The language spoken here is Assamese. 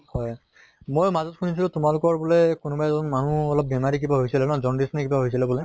হয় মই মাজত শুনিছিলো তোমালোকৰ বুলে কোনোবা এজন মানুহ অলপ বেমাৰি কিবা হৈছিলে ন jaundice নে কিবা হৈছিলে বুলে?